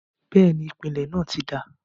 bẹ́ẹ̀ni, ìpìlẹ̀ náà ti dáa.